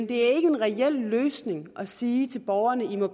det er ikke en reel løsning at sige til borgerne at